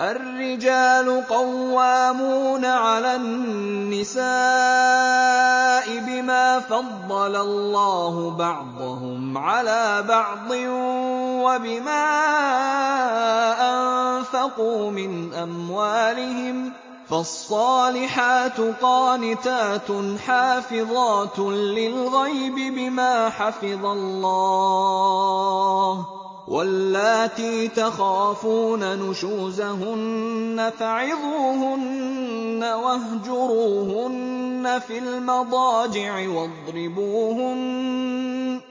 الرِّجَالُ قَوَّامُونَ عَلَى النِّسَاءِ بِمَا فَضَّلَ اللَّهُ بَعْضَهُمْ عَلَىٰ بَعْضٍ وَبِمَا أَنفَقُوا مِنْ أَمْوَالِهِمْ ۚ فَالصَّالِحَاتُ قَانِتَاتٌ حَافِظَاتٌ لِّلْغَيْبِ بِمَا حَفِظَ اللَّهُ ۚ وَاللَّاتِي تَخَافُونَ نُشُوزَهُنَّ فَعِظُوهُنَّ وَاهْجُرُوهُنَّ فِي الْمَضَاجِعِ وَاضْرِبُوهُنَّ ۖ